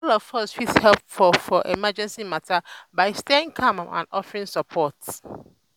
all of us fit help for for emergency mata by staying calm and offering support.